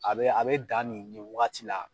a bɛ a bɛ dan nin nin wagati la